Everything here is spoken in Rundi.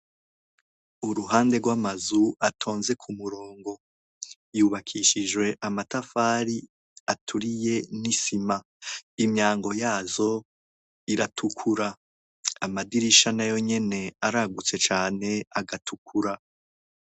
Uruhande rw'amazu atonze k'umurongo. Yubakishijwe amatafari aturiye n'isima. Imyango yazo iratukuza. Amadirisha nayo nyene aragutse cane agatukura .